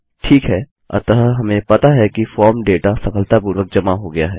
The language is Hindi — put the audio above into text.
ठीक है अतः हमें पता है कि फॉर्म डेटा सफलतापूर्वक जमा हो गया है